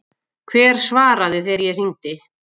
Hver svaraði þegar ég hringdi?